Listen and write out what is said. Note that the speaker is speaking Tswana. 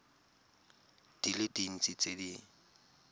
di le dintsi tse di